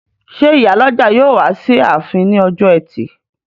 Ṣé ìyálọ́jà yóò wá sí ààfin ní ọjọ́ ẹtì?